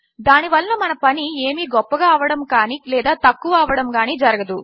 దాని వలన పని ఏమీ గొప్పగా అవ్వడము కానీ లేదా తక్కువ అవ్వడము కానీ ఏమీ జరగదు